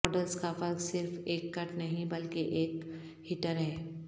models کا فرق صرف ایک کٹ نہیں بلکہ ایک ہیٹر ہے